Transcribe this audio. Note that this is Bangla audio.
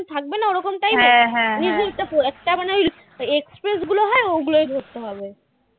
একটা মানে এই express গুলো হ্যাঁ ওগুলোই ধরতে হবে